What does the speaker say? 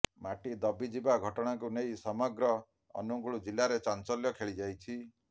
ମାଟି ଦବିଯିବା ଘଟଣାକୁ ନେଇ ସମଗ୍ର ଅନୁଗୁଳ ଜିଲ୍ଲାରେ ଚାଞ୍ଚଲ୍ୟ ଖେଳିଯାଇଛି